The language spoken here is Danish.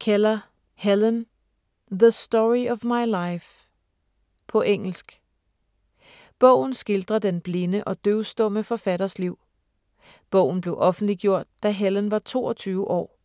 Keller, Helen: The story of my life På engelsk. Bogen skildrer den blinde og døvstumme forfatters liv. Bogen blev offentliggjort, da Helen var toogtyve år.